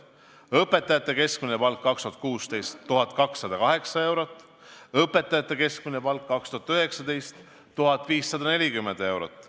Õpetajate keskmine palk 2016. aastal – 1208 eurot, õpetajate keskmine palk 2019. aastal – 1540 eurot.